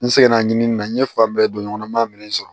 N seginna ɲinini na n ye fan bɛɛ don ɲɔgɔn na n ma minɛn sɔrɔ